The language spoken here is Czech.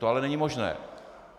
To ale není možné.